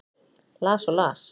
Las og las.